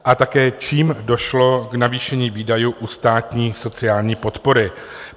A také čím došlo k navýšení výdajů u státní sociální podpory?